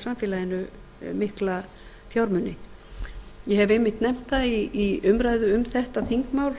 samfélaginu mikla fjármuni ég hef einmitt nefnt það í umræðu um þetta þingmál